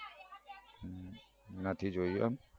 નથી જોયું એમ